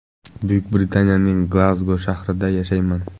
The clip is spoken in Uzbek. Buyuk Britaniyaning Glazgo shahrida yashayman.